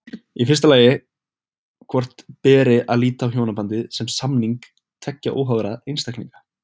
Í fyrsta lagi hvort beri að líta á hjónabandið sem samning tveggja óháðra einstaklinga.